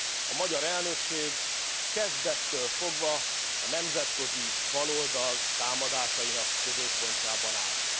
A magyar elnökség kezdettől fogva a nemzetközi baloldal támadásainak középpontjában állt.